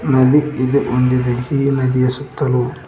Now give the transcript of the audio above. ಅದು ಇದು ಹೊಂದಿದೆ ಈ ನದಿಯ ಸುತ್ತಲೂ.